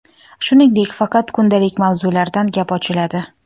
Shuningdek, faqat kundalik mavzulardan gap ochiladi.